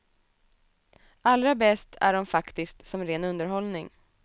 Allra bäst är de faktiskt som ren underhållning.